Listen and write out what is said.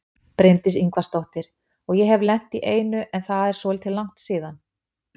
Bryndís Ingvarsdóttir: Og ég hef lent í einu en það er svolítið langt síðan?